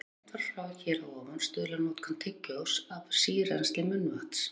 Eins og greint var frá hér að ofan stuðlar notkun tyggjós að sírennsli munnvatns.